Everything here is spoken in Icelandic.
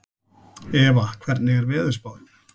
Eva, hvernig er veðurspáin?